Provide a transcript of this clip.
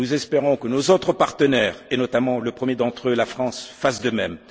Nous espérons que nos autres partenaires, et notamment le premier d'entre eux, la France, fassent de